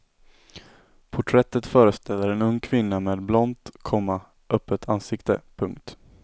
Porträttet föreställer en ung kvinna med blont, komma öppet ansikte. punkt